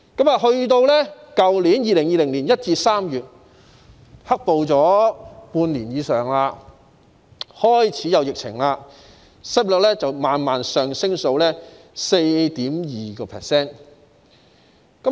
到去年2020年1月至3月，"黑暴"發生了半年以上，又開始有疫情，失業率慢慢上升至 4.2%。